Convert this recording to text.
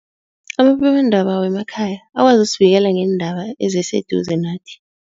Amaphephandaba wemakhaya akwazi usibikela ngeendaba eziseduze nathi.